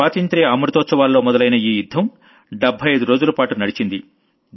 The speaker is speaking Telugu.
స్వాతంత్ర్య అమృతోత్సవాల్లో మొదలైన ఈ యుద్ధం 75 రోజుల పాట నడిచింది